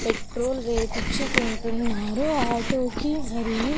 Petrol వేపించుకుంటున్నారు auto కి మరియు.